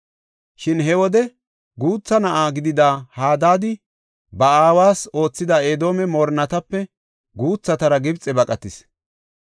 Shin he wode guutha na7a gidida Hadaadi, ba aawas oothida Edoome moorinatape guuthatara Gibxe baqatis.